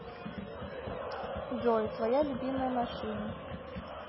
джой твоя любимая машина